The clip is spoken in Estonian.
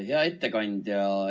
Hea ettekandja!